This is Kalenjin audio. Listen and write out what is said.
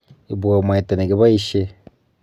Ibwo mwaita nekichapishe.